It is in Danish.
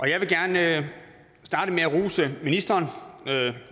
jeg vil gerne starte med at rose ministrene